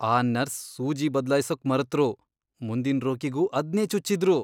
ಆ ನರ್ಸ್ ಸೂಜಿ ಬದ್ಲಾಯ್ಸೋಕ್ ಮರೆತ್ರು, ಮುಂದಿನ್ ರೋಗಿಗೂ ಅದ್ನೇ ಚುಚ್ಚಿದ್ರು.